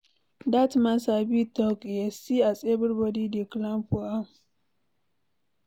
Dat man sabi talk eh, see as everybody dey clap for am.